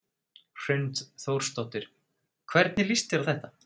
Hrund Þórsdóttir: Hvernig líst þér á þetta?